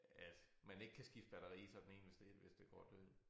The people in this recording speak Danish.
At man ikke kan skifte batteri i sådan én hvis det hvis det går død